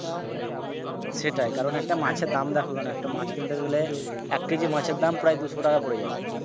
সেটাই কারন একটা মাছের দাম দেখো কেন একটা মাছ কিনতে গেলে এক KG মাছের দাম প্রায় দুশো টাকা পরে যাবে।